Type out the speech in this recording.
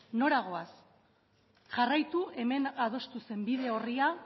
nora goaz jarraitu hemen adostu zen bide orria